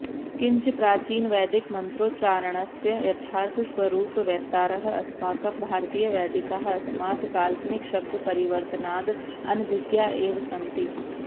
किञ्च प्राचीनवैदिकमन्त्रोच्चारणस्य यथार्थस्वरूपवेत्तारः अस्माकं भारतीयवैदिकाः अस्मात् काल्पनिकशब्दपरिवर्तनाद् अनभिज्ञा एव सन्ति